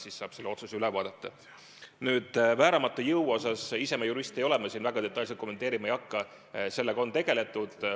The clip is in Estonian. Mis puutub vääramatusse jõudu, siis ma ei ole jurist ja ma seda väga detailselt kommenteerima ei hakka, aga sellega on tegeletud.